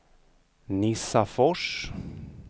Nissafors